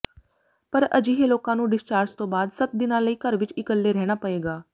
ਪਰ ਅਜਿਹੇ ਲੋਕਾਂ ਨੂੰ ਡਿਸਚਾਰਜ ਤੋਂ ਬਾਅਦ ਸੱਤ ਦਿਨਾਂ ਲਈ ਘਰ ਵਿੱਚ ਇਕੱਲੇ ਰਹਿਣਾ ਪਏਗਾ